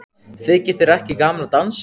Þykir þér ekki gaman að dansa?